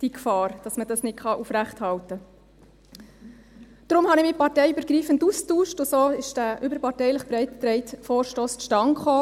Deshalb habe ich mich parteiübergreifend ausgetauscht, und so ist dieser überparteilich breit getragene Vorstoss zustande gekommen.